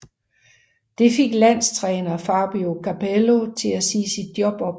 Det fik landstræner Fabio Capello til at sige sit job op